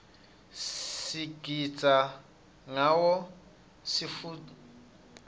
sigitsa ngawo sitfukutseti